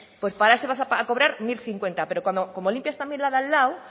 pues por eso vas a cobrar mil cincuenta pero como limpias también la de al lado